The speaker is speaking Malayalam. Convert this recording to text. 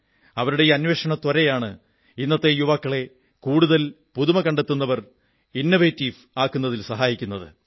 അവരുടെ ഈ അന്വേഷണത്വരയാണ് ഇന്നത്തെ യുവാക്കളെ കൂടുതൽ പുതുമ കണ്ടെത്തുന്നവർ ഇന്നൊവേറ്റീവ് ആക്കുന്നതിൽ സഹായിക്കുന്നത്